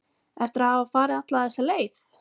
Eftir að hafa farið alla þessa leið?